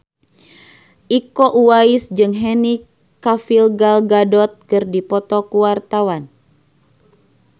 Iko Uwais jeung Henry Cavill Gal Gadot keur dipoto ku wartawan